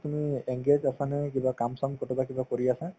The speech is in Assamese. তুমি engage আছানে কিবা কাম-চাম কৰবাত কিবা কৰি আছা